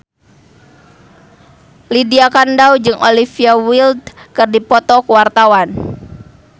Lydia Kandou jeung Olivia Wilde keur dipoto ku wartawan